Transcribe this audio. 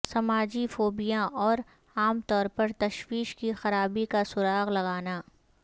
سماجی فوبیا اور عام طور پر تشویش کی خرابی کا سراغ لگانا